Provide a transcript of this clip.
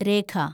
രേഖ